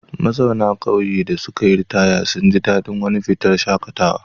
Mazauna ƙauyen da suka yi ritaya sun ji daɗin wani fitar shaƙatawa.